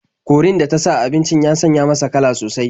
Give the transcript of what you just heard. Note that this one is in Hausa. Korin da ta sa a abincin ya sanya masa kala sosai.